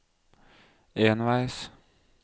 enveis